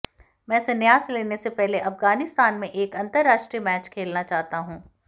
मैं संन्यास लेने से पहले अफगानिस्तान में एक अंतरराष्ट्रीय मैच खेलना चाहता हूं